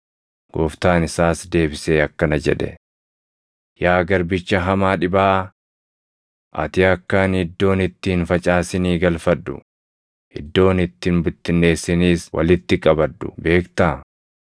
“Gooftaan isaas deebisee akkana jedhe; ‘Yaa garbicha hamaa dhibaaʼaa! Ati akka ani iddoon itti hin facaasinii galfadhu, iddoon itti hin bittinneessiniis walitti qabadhu beektaa?